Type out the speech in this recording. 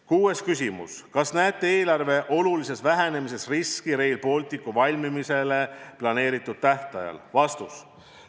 Kuues küsimus: kas näete eelarve olulises vähenemises riski Rail Balticu valmimisele planeeritud tähtajal?